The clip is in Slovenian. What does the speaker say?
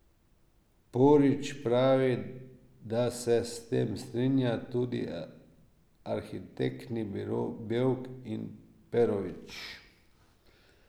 Porić pravi, da se s tem strinja tudi arhitektni biro Bevk in Perović.